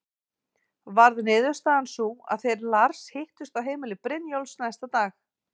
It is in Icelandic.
Varð niðurstaðan sú að þeir Lars hittust á heimili Brynjólfs næsta dag.